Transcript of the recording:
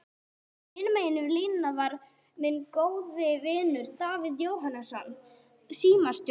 Hinum megin línunnar var minn góði vinur, Davíð Jóhannesson símstjóri.